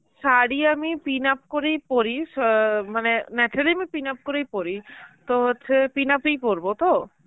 শাড়ি আমি pinup করেই পরি অ্যাঁ মানে আমি pinup করেই পরি. তো হচ্ছে pinup ই পরব তো?